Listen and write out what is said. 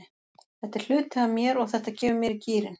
Þetta er hluti af mér og þetta kemur mér í gírinn.